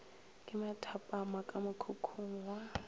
ke mathapama ka mokhukhung wa